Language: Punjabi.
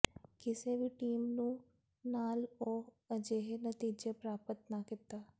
ਕਿਸੇ ਵੀ ਟੀਮ ਨੂੰ ਨਾਲ ਉਹ ਅਜਿਹੇ ਨਤੀਜੇ ਪ੍ਰਾਪਤ ਨਾ ਕੀਤਾ